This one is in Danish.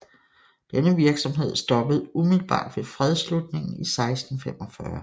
Denne virksomhed stoppede umiddelbart ved fredsslutningen i 1645